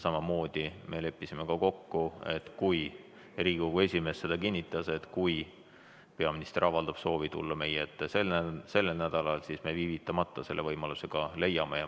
Samamoodi me leppisime kokku – ja Riigikogu esimees kinnitas seda –, et kui peaminister avaldab soovi tulla meie ette sellel nädalal, siis me viivitamata selle võimaluse ka leiame.